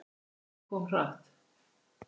Æxlið kom svo hratt.